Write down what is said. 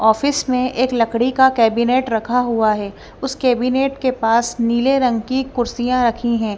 Office में एक लकड़ी का कैबिनेट रखा हुआ है उस कैबिनेट के पास नीले रंग की कुर्सियां रखी हैं।